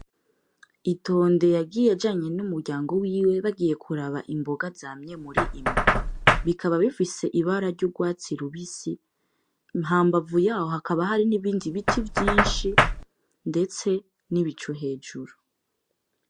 Itonde yagiye ajanye n'umuryango wiwe bagiye kuraba imboga zamye mur'imbo, bikaba bifise ibara ry'urwatsi rubisi hambavu yaho hakaba hari nibindi biti vyinshi ndetse n'ibicu hejuru.